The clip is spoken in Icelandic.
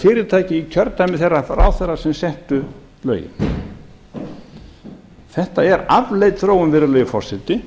í kjördæmi þeirra ráðherra sem settu lögin þetta er afleit þróun virðulegi forseti